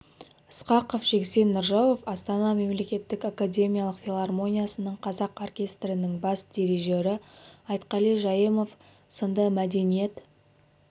ысқақов жексен нұржауов астана мемлекеттік академиялық филармониясының қазақ оркестрінің бас дирижері айтқали жайымов сынды мәдениет